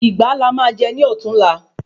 Ìgbá la má jè ní ọ̀túnla